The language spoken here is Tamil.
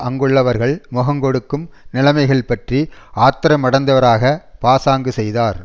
அங்குள்ளவர்கள் முகங்கொடுக்கும் நிலைமைகள் பற்றி ஆத்திரமடைந்தவராக பாசாங்கு செய்தார்